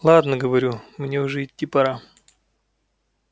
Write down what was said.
ладно говорю мне уже идти пора